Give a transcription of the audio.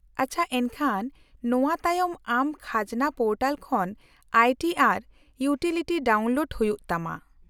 -ᱟᱪᱪᱷᱟ, ᱮᱱᱠᱷᱟᱱ ᱱᱚᱣᱟ ᱛᱟᱭᱚᱢ ᱟᱢ ᱠᱷᱟᱡᱽᱱᱟ ᱯᱳᱨᱴᱟᱞ ᱠᱷᱚᱱ I T R utility download ᱦᱩᱭᱩᱜ ᱛᱟᱢᱟ ᱾